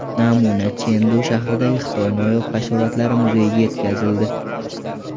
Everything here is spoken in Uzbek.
Namuna Chendu shahridagi Xitoy noyob hasharotlari muzeyiga yetkazildi.